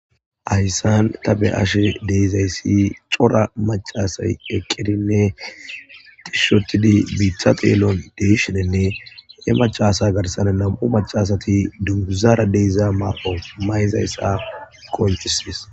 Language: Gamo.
hayssan ta be ashe deezayssi cora macasay ekirinne tishshotidi biitha teelon deeshidenne ne macasa garsan nam7u macasati duguzara deyza mar7o mayzayssa qonchismis